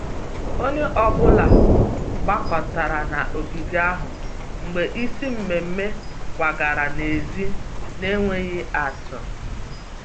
Onye ọ bụla gbakọtara n'ogige ahụ mgbe isi mmemmé kwagara n'èzí n'enweghị atụ